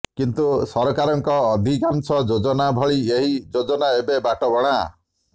କିନ୍ତୁ ସରକାରଙ୍କ ଅଧିକାଂସ ଯୋଜନା ଭଳି ଏହି ଯୋଜନା ଏବେ ବଟବଣା